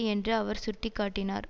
என்று அவர் சுட்டி காட்டினார்